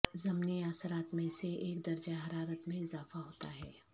ضمنی اثرات میں سے ایک درجہ حرارت میں اضافہ ہوتا ہے